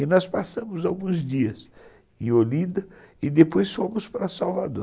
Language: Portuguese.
E nós passamos alguns dias em Olinda e depois fomos para Salvador.